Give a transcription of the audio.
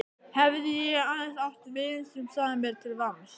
Hefði ég aðeins átt vin sem sagði mér til vamms.